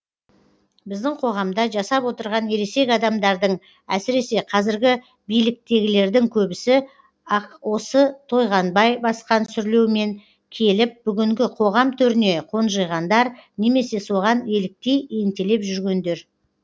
біздің қоғамда жасап отырған ересек адамдардың әсіресе қазіргі биліктегілердің көбісі ақ осы тойғанбай басқан сүрлеумен келіп бүгінгі қоғам төріне қонжиғандар немесе соған еліктей ентелеп жүргендер